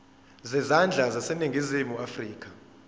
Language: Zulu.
zezandla zaseningizimu afrika